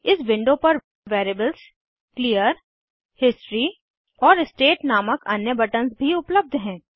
इस विंडो पर variables clear history और स्टेट नामक अन्य बटन्स भी उपलब्ध हैं